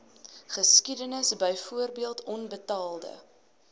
geskiedenis byvoorbeeld onbetaalde